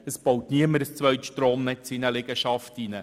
Niemand baut ein zweites Stromnetz in eine Liegenschaft ein.